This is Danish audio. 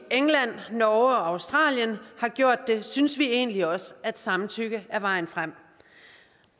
england norge og australien har gjort det synes vi egentlig også at samtykke er vejen frem